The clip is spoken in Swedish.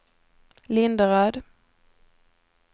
Linderöd